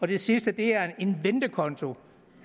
det sidste er en ventekonto